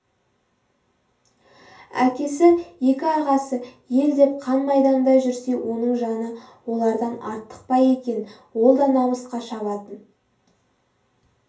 әкесі екі ағасы ел деп қан майданда жүрсе оның жаны олардан артық па екен ол да намысқа шабатын